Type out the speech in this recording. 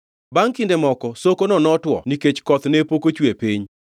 Bangʼ kinde moko sokono notwo nikech koth ne pok ochuwe e piny.